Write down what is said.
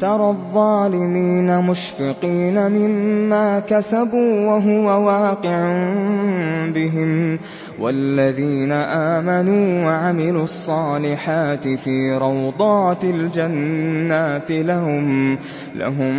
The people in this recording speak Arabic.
تَرَى الظَّالِمِينَ مُشْفِقِينَ مِمَّا كَسَبُوا وَهُوَ وَاقِعٌ بِهِمْ ۗ وَالَّذِينَ آمَنُوا وَعَمِلُوا الصَّالِحَاتِ فِي رَوْضَاتِ الْجَنَّاتِ ۖ لَهُم